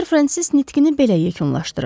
Ser Frensis nitqini belə yekunlaşdırırdı.